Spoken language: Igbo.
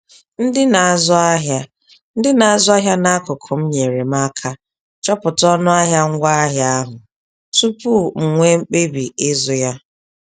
Ndị na-azụ ahịa Ndị na-azụ ahịa n'akụkụ m nyeere m aka chọpụta ọnụahịa ngwaahịa ahụ tupu m nwee mkpebi ịzụ ya